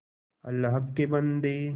अल्लाह के बन्दे